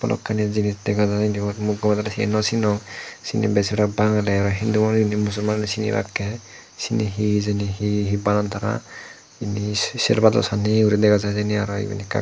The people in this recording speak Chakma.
balokani jinish jegajar ebot mui gomedale cini nw cinong cini besirbak bangale oy hindu mosumanuni cinibakke cini he hejani he he banan tara serbado sanni gori dega jai ekka ekka.